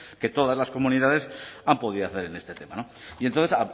que todas las comunidades han podido hacer en este tema no y entonces